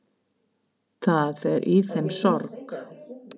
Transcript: Það er í þeim sorg.